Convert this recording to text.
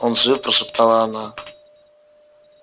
он жив прошептала она